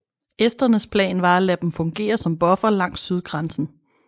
Esternes plan var at lade dem fungere som buffer langs sydgrænsen